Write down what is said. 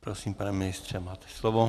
Prosím, pane ministře, máte slovo.